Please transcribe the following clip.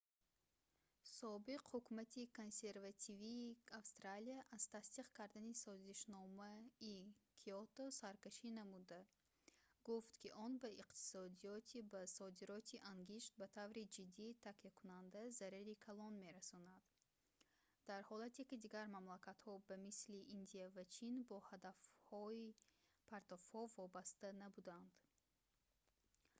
собиқ ҳукумати консервативии австралия аз тасдиқ кардани созишномаи киото саркашӣ намуда гуфт ки он ба иқтисодиёти ба содироти ангишт ба таври ҷиддӣ такякунанда зарари калон мерасонанд дар ҳолате ки дигар мамлакатҳо ба мисли индия ва чин бо ҳадафҳои партовҳо вобаста набуданд